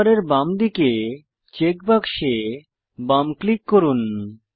colour বারের বাঁদিকে check বাক্সে বাম ক্লিক করুন